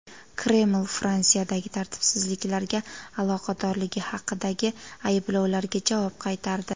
Kreml Fransiyadagi tartibsizliklarga aloqadorligi haqidagi ayblovlarga javob qaytardi.